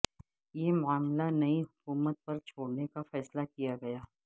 یہ معاملہ نئی حکومت پر چھوڑنے کا فیصلہ کیا گیا